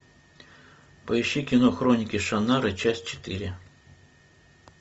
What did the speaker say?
поищи кино хроники шаннары часть четыре